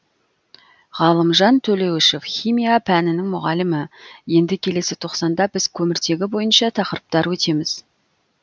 ғалымжан төлеуішев химия пәнінің мұғалімі енді келесі тоқсанда біз көміртегі бойынша тақырыптар өтеміз